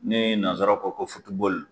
Ne ye nansaraw kɔ ko